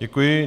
Děkuji.